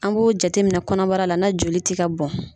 An b'o jateminɛ kɔnɔbara la n'a joli tɛ ka bɔn.